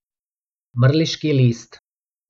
Mrliški list.